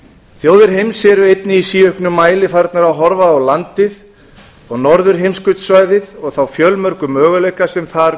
þjóðir heims eru einnig í síauknum mæli farnar að horfa á landið og norðurheimskautssvæðið og þá fjölmörgu möguleika sem þar